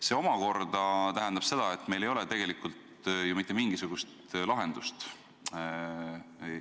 See omakorda tähendab seda, et meil ei ole tegelikult mitte mingisugust lahendust sellele probleemile.